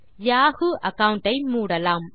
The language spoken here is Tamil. யாஹூ அகாவுண்ட் ஐ மூடலாம்